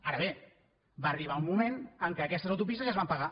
ara bé va arribar un moment en què aquestes autopistes ja es van pagar